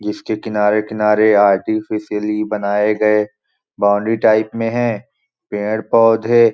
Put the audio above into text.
जिसके किनारे-किनारे अर्टिफिशली बनाये गए बाउंड्री टाईप में है पेड़ -पौधे --